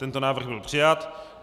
Tento návrh byl přijat.